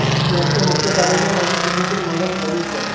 याचे मुख्य कार्यालय नवी दिल्लीत मैदान गढी येथे आहे